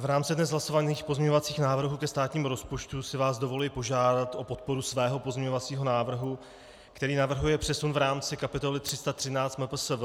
V rámci dnes hlasovaných pozměňovacích návrhů ke státnímu rozpočtu si vás dovoluji požádat o podporu svého pozměňovacího návrhu, který navrhuje přesun v rámci kapitoly 313 MPSV,